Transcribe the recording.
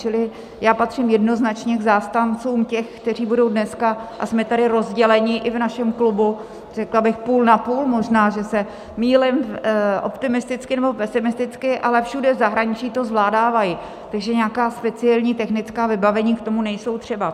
Čili já patřím jednoznačně k zastáncům těch, kteří budou dneska - a jsme tady rozděleni i v našem klubu řekla bych půl na půl, možná že se mýlím optimisticky nebo pesimisticky, ale všude v zahraničí to zvládávají, takže nějaká speciální technická vybavení k tomu nejsou třeba.